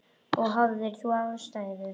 Og hafðir þú ástæðu?